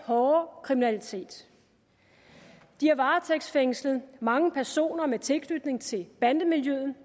hårde kriminalitet de har varetægtsfængslet mange personer med tilknytning til bandemiljøet